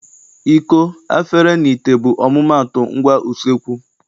Iko, afere, na ite bụ ọmụmaatụ ngwa useekwu.